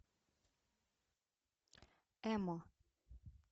эмо